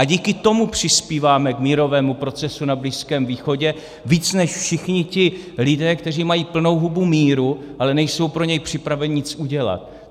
A díky tomu přispíváme k mírovému procesu na Blízkém východě víc než všichni ti lidé, kteří mají plnou hubu míru, ale nejsou pro něj připraveni nic udělat.